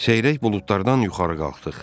Seyrək buludlardan yuxarı qalxdıq.